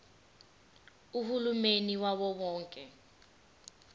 uhulumeni wawo wonke